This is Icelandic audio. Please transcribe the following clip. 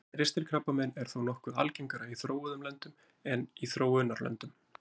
Ristilkrabbamein er þó nokkuð algengara í þróuðum löndum en í þróunarlöndum.